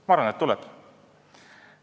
Ma arvan, et ta tuleb.